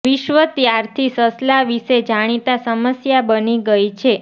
વિશ્વ ત્યારથી સસલા વિશે જાણીતા સમસ્યા બની ગઈ છે